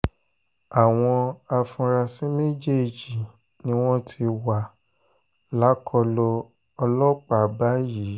àwọn afurasí méjèèjì ni wọ́n ti wà lákọlò ọlọ́pàá báyìí